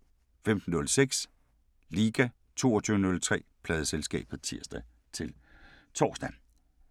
15:06: Liga 22:03: Pladeselskabet (tir-tor)